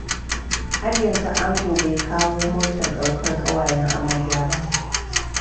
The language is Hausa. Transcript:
Har yanzu ango bai kawo motar daukar ƙawayen amarya ba.